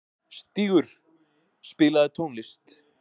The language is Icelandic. Stígur, spilaðu tónlist.